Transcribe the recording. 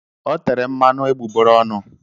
O tere mmanụ egbugbere ọnụ.